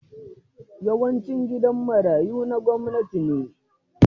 Yawancin gidan marayu na gwamnati ne.